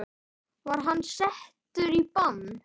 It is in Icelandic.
Var hann settur í bann?